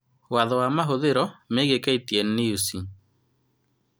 Watho wa mahuthiro megie KTN News